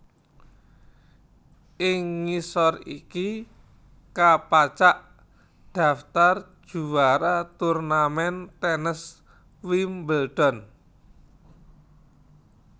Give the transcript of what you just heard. Ing ngisor iki kapacak daftar juwara turnamen tènes Wimbledon